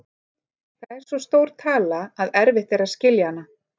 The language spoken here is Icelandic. Það er svo stór tala að erfitt er að skilja hana.